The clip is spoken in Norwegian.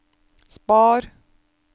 spar